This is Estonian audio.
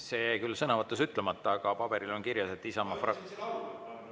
See jäi küll sõnavõtus ütlemata, aga paberil on kirjas, et Isamaa fraktsioon …